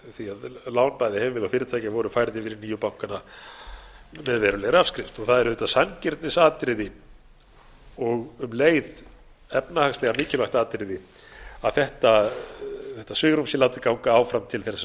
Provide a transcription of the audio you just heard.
því að fyrirtækja voru færð yfir í nýju bankana með verulegri afskrift og það er auðvitað sanngirnisatriði og um leið efnahagslega mikilvægt atriði að þetta svigrúm sé látið ganga áfram til þeirra